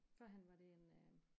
Førhen var det en øh